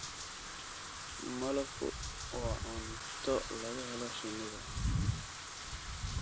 Malabku waa cunto laga helo shinnida.